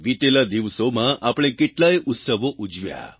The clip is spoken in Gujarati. વીતેલા દિવસોમાં આપણે કેટલાય ઉત્સવો ઉજવ્યા